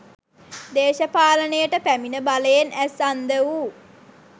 දේශපාලනයට පැමිණ බලයෙන් ඇස් අන්ධ වූ